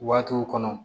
Waatiw kɔnɔ